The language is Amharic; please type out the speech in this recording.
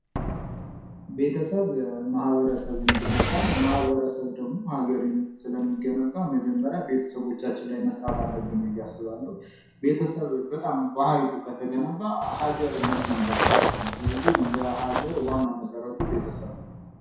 ቤተሰብ ማህበረሰብን ይገነባል ማህበረሰብ ደግሞ ሀገርን ስለሚገነባ መጀመሪያ ቤተሰቦቻችን ላይ መስራት አለብን ብየ አስባለሁ። ቤተሰብ በጣም ባህሪው ከተገነባ ሀገር መገንባቱ አይቀርም። ስለዚህ ለሀገር ዋናው መሠረቱ ቤተሰብ ነው።